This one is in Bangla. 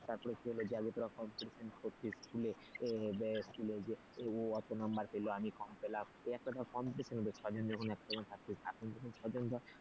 তারপর school যে তোরা competition করছিস স্কুলে যে ও এত number পেল আমি কম পেলাম এই ধর competition হল ছয়জন যখন একসঙ্গে থাকথিস একসঙ্গে ছয় জন ধর,